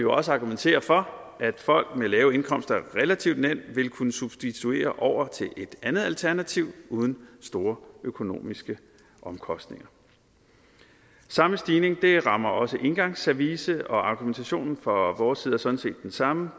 også argumentere for at folk med lave indkomster relativt nemt vil kunne substituere over til et andet alternativ uden store økonomiske omkostninger samme stigning rammer også engangsservice og argumentationen fra vores side er sådan set den samme